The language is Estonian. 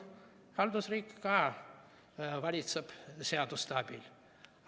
Haldusriik ka valitseb seaduste abil.